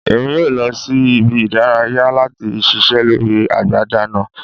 Emi yoo lọ si ibi-idaraya lati ṣiṣẹ lori agbada mi